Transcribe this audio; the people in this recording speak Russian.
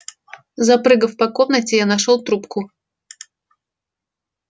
запрыгав по комнате я нашёл трубку